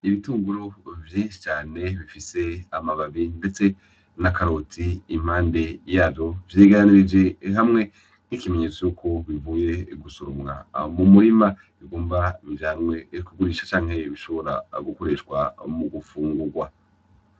Ibitunguru vyishi cane bifise amababi ndetse na karoti impande yayo vyegeranirije hamwe nk'ikimenyetso cuko bivuye gusoromwa mu murima bigombe bijanwe kugurishwa canke bishobora gukoreshwa mu mu gufungurwa.